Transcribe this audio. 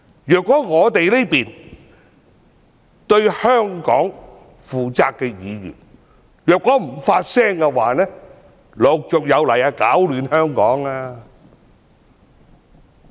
如果我們這些對香港負責的議員不發聲的話，攪亂香港的人便陸續有來。